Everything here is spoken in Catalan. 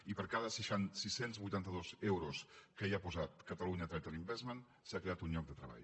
i per cada sis cents i vuitanta dos euros que hi ha posat catalonia trade investment s’ha creat un lloc de treball